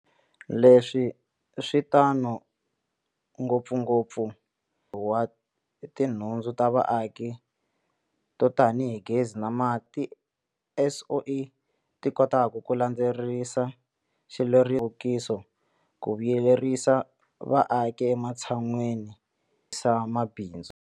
Leswi swi tano ngopfungo pfu eka mphakelo wa tinhu ndzu ta vaaki to tanihi gezi na mati, laha tiSOE ti kotaka ku landzelerisa xilerisoximfumo xa nhluvukiso ku vuyerisa vaaki ematshan'weni ya ku vuyerisa mabindzu.